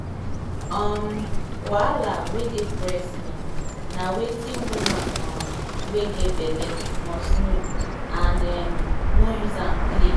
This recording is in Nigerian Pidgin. um wahala wen dey breast milk na wetin woman um wen get belle like must know and um nor use am take play.